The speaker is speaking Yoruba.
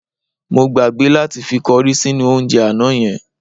Mo gbàgbé láti fi kọrí sínú oúnjẹ àná yẹn.